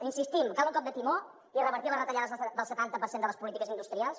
insistim cal un cop de timó i revertir les retallades del setanta per cent de les polítiques industrials